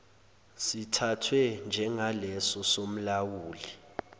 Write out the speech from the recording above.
sithathwe njengaleso somlawuli